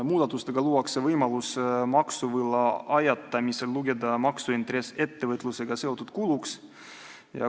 Muudatustega luuakse võimalus maksuvõla ajatamisel lugeda maksuintress ettevõtlusega seotud kuluks.